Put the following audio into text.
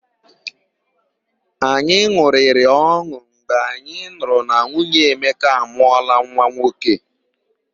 Anyị n̄ụrịrị ọn̄ụ mgbe anyị nụrụ na nwunye Emeka amụọla nwa nwoke.